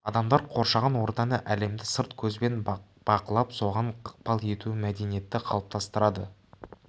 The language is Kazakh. адамдар қоршаған ортаны әлемді сырт көзбен бақылап соған ықпал етуі мәдениетті қалыптастырады